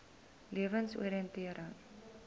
lewensoriëntering